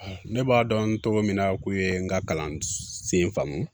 Ne b'a dɔn cogo min na k'u ye n ka kalan sen faamu